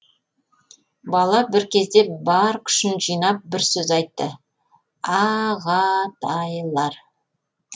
бала бір кезде бар күшін жинап бір сөз айтты аға тай лар